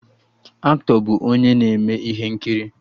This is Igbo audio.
Aktọ bụ onye na-eme ihe nkiri